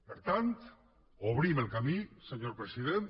per tant obrim el camí senyor president